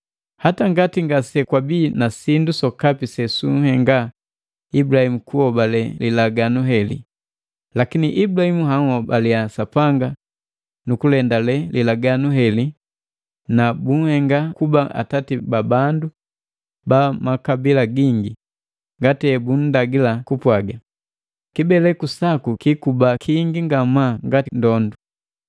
Hata ngati ngasekwabi na sindu sokapi sesunhenga Ibulahimu kuhobale lilaganu heli, lakini Ibulahimu anhobalea Sapanga nukulendale lilaganu heli na bunhenga kuba atati ba bandu ba makabila gingi, ngati hebunndagila kupwaga, “Kibeleku saku kiikuba kingi ngamaa ngati ndondu.”